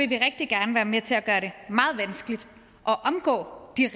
vi rigtig gerne være med til at gøre det meget vanskeligt at omgå de